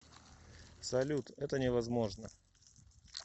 салют это не возможно